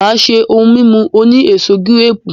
Maa se ohun mimu oni eso girepu.